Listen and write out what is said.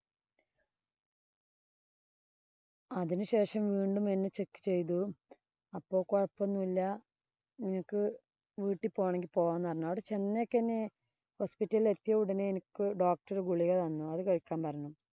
അതിനുശേഷം വീണ്ടും എന്നെ check ചെയ്തു. അപ്പൊ കൊഴപ്പം ഒന്നുമില്ല. നിങ്ങക്ക് വീട്ടി പോണേങ്കി പോവാന്ന് പറഞ്ഞു. അവിടെ ചെന്നേക്കനെ hospital ഇല്‍ എത്തിയ ഉടനെ എനിക്ക് doctor ഗുളിക തന്നു. അത് കഴിക്കാന്‍ പറഞ്ഞു.